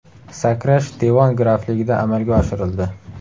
Sakrash Devon grafligida amalga oshirildi.